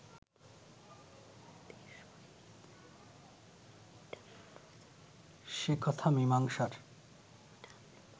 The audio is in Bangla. সে কথা মীমাংসার